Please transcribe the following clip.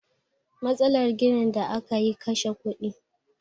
Matsalar ginin da aka yi kashe kudi